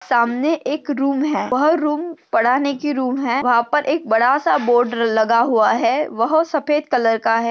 सामने एक रूम है वह रूम पढा नेकी रूम है वहा पर एक बड़ा सा बोर्ड लगा हुआ है वह सफ़ेद कलर का है।